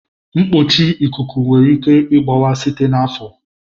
Mkpuchi ikuku nwere ike ịgbawa site n'afọ.